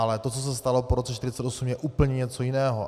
Ale to, co se stalo po roce 1948, je úplně něco jiného.